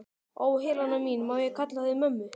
Ó, Helena mín, má ég kalla þig mömmu?